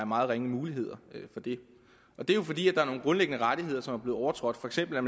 meget ringe muligheder for det er jo fordi der er nogle grundlæggende rettigheder som bliver overtrådt for eksempel